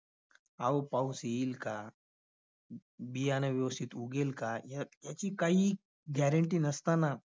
अहो पाऊस येईल का? बियाणे व्यवस्थित उगेल काय? या~ याची काहीही guarantee नसताना